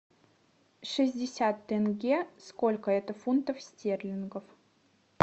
шестьдесят тенге сколько это фунтов стерлингов